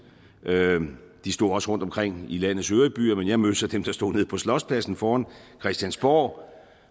de stod også rundtomkring i landets øvrige byer men jeg mødte så dem der stod nede på slotspladsen foran christiansborg